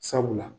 Sabula